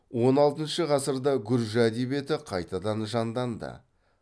он алтыншы ғасырда гүржі әдебиеті қайтадан жанданды